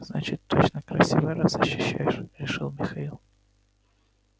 значит точно красивая раз защищаешь решил михаил